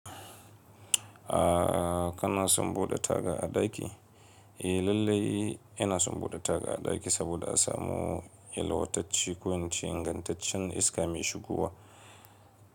A kana son bude taga a daki? Eh lallai ina son bude taga a daki saboda a samu yalwataccen ko ingantaccen iska mai shigowa.